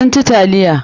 Sun ci taliya.